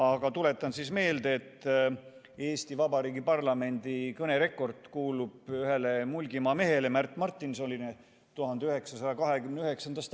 Aga tuletan meelde, et Eesti Vabariigi parlamendi kõnerekord kuulub 1929. aastast ühele Mulgimaa mehele, Märt Martinsonile.